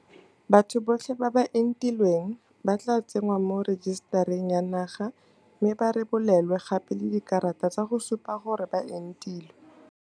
Batho botlhe ba ba entilweng ba tla tsenngwa mo rejisetareng ya naga mme ba rebolelwe gape le dikarata tsa go supa gore ba entilwe.